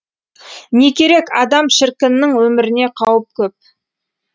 не керек адам шіркіннің өміріне қауіп көп